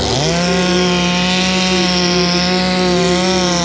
Book store में काफी संख्या में बुक रखी हुई है।